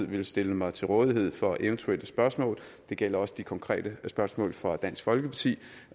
vil stille mig til rådighed for eventuelle spørgsmål det gælder også de konkrete spørgsmål fra dansk folkeparti